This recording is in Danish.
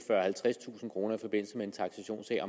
halvtredstusind kroner i forbindelse med en taksationssag